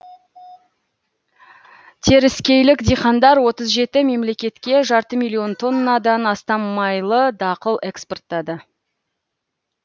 теріскейлік диқандар отыз жеті мемлекетке жарты миллион тоннадан астам майлы дақыл экспорттады